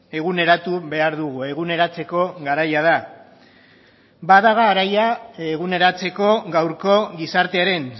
eguneratu behar dugu eguneratzeko garaia da bada garaia eguneratzeko gaurko gizartearen